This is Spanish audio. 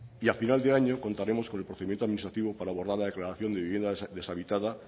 y a final de año contaremos con el procedimiento administativo para abordar la declaración de vivienda deshabitada